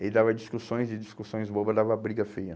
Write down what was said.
E dava discussões e discussões bobas, dava briga feia.